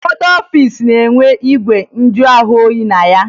Ụfọdụ ọfiisi na-enwe igwe njụahụoyi na ya